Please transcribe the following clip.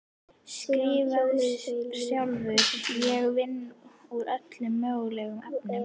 Skrifar sjálf: Ég vinn úr öllum mögulegum efnum.